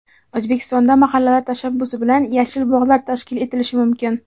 O‘zbekistonda mahallalar tashabbusi bilan yashil bog‘lar tashkil etilishi mumkin.